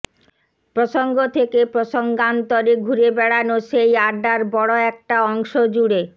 প্রসঙ্গ থেকে প্রসঙ্গান্তরে ঘুরে বেড়ানো সেই আড্ডার বড় একটা অংশজুড়ে